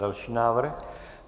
Další návrh.